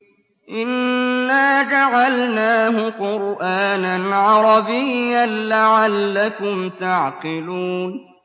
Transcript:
إِنَّا جَعَلْنَاهُ قُرْآنًا عَرَبِيًّا لَّعَلَّكُمْ تَعْقِلُونَ